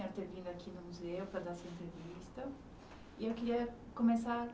Ter vindo aqui no museu fazer essa entrevista, e eu queria começar